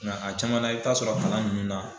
Nga a caman na i t'a sɔrɔ kalan ninnu na